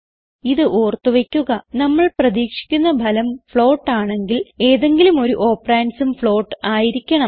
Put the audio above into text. ഇത് ഓർത്ത് വയ്ക്കുക നമ്മൾ പ്രതീക്ഷിക്കുന്ന ഫലം ഫ്ലോട്ട് ആണെങ്കിൽ ഏതെങ്കിലും ഒരു operandsഉം ഫ്ലോട്ട് ആയിരിക്കണം